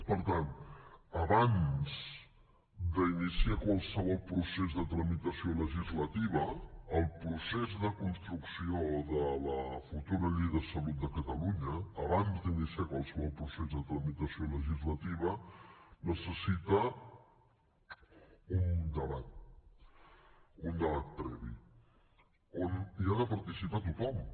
per tant abans d’iniciar qualsevol procés de tramitació legislativa el procés de construcció de la futura llei de salut de catalunya abans d’iniciar qualsevol procés de tramitació legislativa necessita un debat un debat previ on hi ha de participar tothom